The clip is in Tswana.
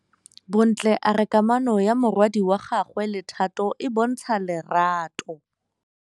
Bontle a re kamanô ya morwadi wa gagwe le Thato e bontsha lerato.